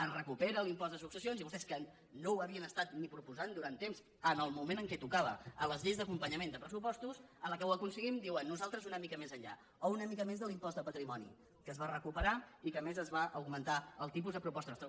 es recupera l’impost de successions i vostès que no ho havien estat ni proposant durant temps en el moment en què tocava a les lleis d’acompanyament de pressupostos a la que ho aconseguim diuen nosaltres una mica més enllà o una mica més de l’impost de patrimoni que es va recuperar i que a més se’n va augmentar el tipus a proposta nostra